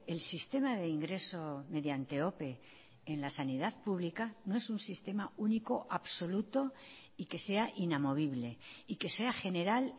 el sistema de ingreso mediante ope en la sanidad pública no es un sistema único absoluto y que sea inamovible y que sea general